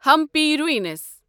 Hampi روٗنِس